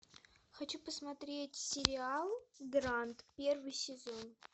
хочу посмотреть сериал гранд первый сезон